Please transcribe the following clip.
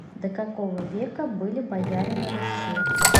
до какого века были бояре на руси